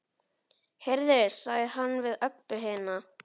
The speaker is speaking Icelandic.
Heyrðu, sagði hann við Öbbu hina.